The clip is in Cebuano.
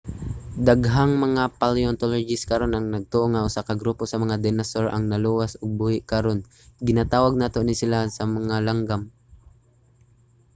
daghang mga paleontologist karon ang nagtuo nga usa ka grupo sa mga dinosaur ang naluwas ug buhi karon. ginatawag nato ni sila nga mga langgam